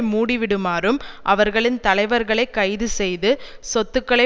மூடிவிடுமாறும் அவர்களின் தலைவர்களை கைது செய்து சொத்துக்களை